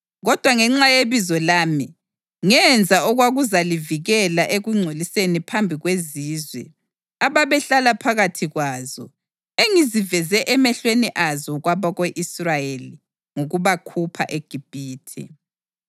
Kodwa ngenxa yebizo lami, ngenza okwakuzalivikela ekungcolisweni phambi kwezizwe ababehlala phakathi kwazo engiziveze emehlweni azo kwabako-Israyeli ngokubakhupha eGibhithe.